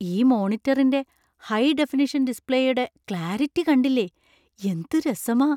ഈ മോണിറ്ററിന്‍റെ high definition ഡിസ്പ്ലേയുടെ ക്ലാരിറ്റി കണ്ടില്ലേ, എന്ത് രസമാ!